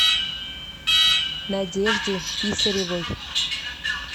надежде писаревой